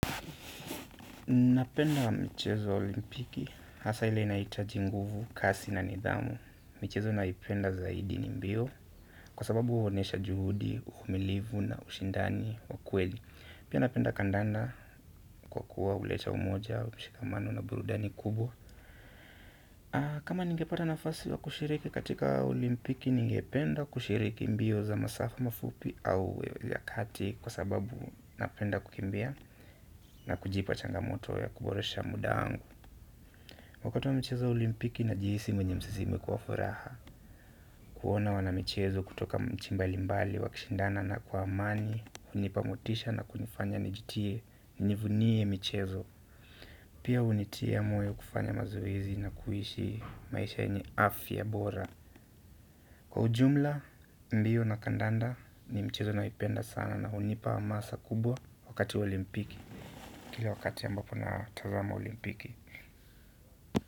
Napenda michezo wa olimpiki hasa ile inahitaji nguvu kasi na nidhamu. Michezo naipenda zaidi ni mbio kwa sababu huonyesha juhudi, uvumilivu na ushindani wa kweli. Pia napenda kandanda kwa kuwa huleta umoja wa mshikamano na burudani kubwa. Kama ningepata nafasi wa kushiriki katika olimpiki ningependa kushiriki mbio za masafa mafupi au vya kati kwa sababu napenda kukimbia na kujipa changamoto ya kuboresha muda wangu wakati wa michezo ya olimpiki najihisi mwenye msisimko wa furaha kuona wanamichezo kutoka nchi mbalimbali, wakishindana kwa amani hunipa motisha na kunifanya nijitie, nivunie michezo pia hunitia moyo kufanya mazoezi na kuishi maisha yenye afya bora. Kwa ujumla, mbio na kandanda ni mchezo naipenda sana na hunipa hamasa kubwa wakati olimpiki kila wakati ambapo na tazama olimpiki.